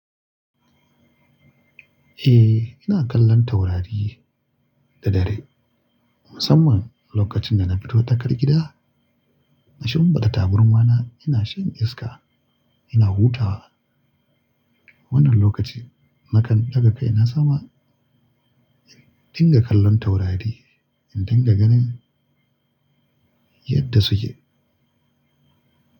Eh, ina kallon taurari da dare. Musamman lokacin da na fito tsakar gida, na shinfida taburma na, ina shan iska, ina hutawa. Wannan lokaci nakan daga kai na zama in dinga kallon taurari, in dinga ganin yadda suke.